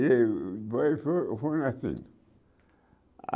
E foi foi foi assim.